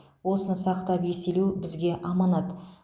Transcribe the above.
осыны сақтап еселеу бізге аманат